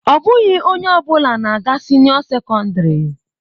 Ọ bụghị onye ọ bụla na-aga sinio secondary.